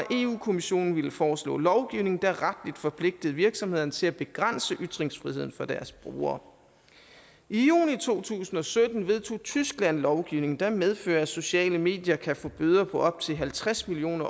kommissionen ville foreslå lovgivning der retligt forpligtede virksomhederne til at begrænse ytringsfriheden for deres brugere i juni to tusind og sytten vedtog tyskland lovgivning der medfører at sociale medier kan få bøder på op til halvtreds million